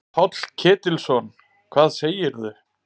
Páll Ketilsson: Hvað segirðu?